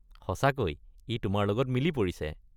সঁচাকৈ ই তোমাৰ লগত মিলি পৰিছে।